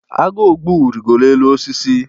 agu ogbu rịgoro n’elu osisi